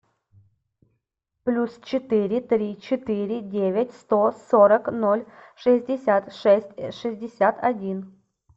плюс четыре три четыре девять сто сорок ноль шестьдесят шесть шестьдесят один